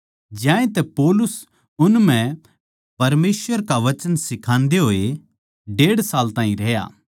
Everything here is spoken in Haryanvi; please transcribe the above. ज्यांतै पौलुस उन म्ह परमेसवर का वचन सिखान्दे होए डेढ़ साल ताहीं रहया